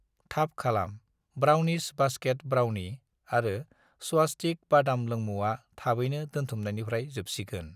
थाब खालाम, brownies basket brownie आरो स्वस्तिक्स बादाम लोमुंआ थाबैनो दोनथुमनायनिफ्राय जोबसिगोन